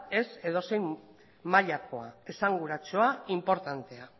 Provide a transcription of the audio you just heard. ez edozein mailakoa esanguratsua inportantea